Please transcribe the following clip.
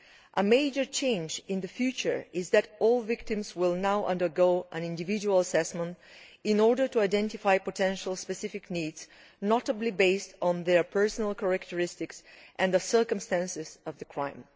A major change in the future is that all victims will now undergo an individual assessment in order to identify potential specific needs, notably based on their personal characteristics and the circumstances of the crime.